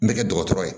N bɛ kɛ dɔgɔtɔrɔ ye